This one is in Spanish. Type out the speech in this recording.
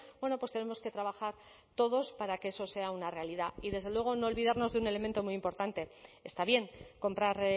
bueno pues tenemos que trabajar todos para que eso sea una realidad y desde luego no olvidarnos de un elemento muy importante está bien comprar